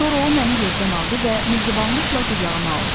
Sonra o məni yerdən aldı və mehribanlıqla qucağına aldı.